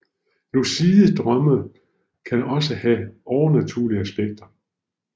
Lucide drømme kan også have overnaturlige aspekter